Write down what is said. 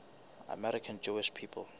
american jewish people